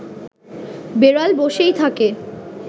বেড়াল বসেই থাকে